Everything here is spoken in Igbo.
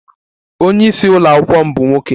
Onye isi ụlọ akwụkwọ m bụ nwoke